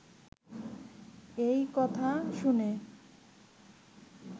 এই কথা শুনে